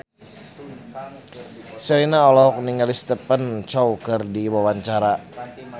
Sherina olohok ningali Stephen Chow keur diwawancara